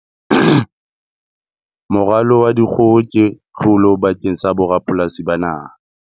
Moralo wa dikgoho ke tlholo bakeng sa borapolasi ba naha.